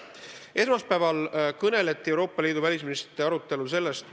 Esmaspäeval kõneleti Euroopa Liidu välisministrite arutelul ka sellest.